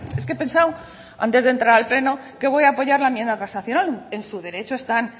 es que he pensado antes de entrar al pleno que voy a apoyar la enmienda transaccional en su derecho están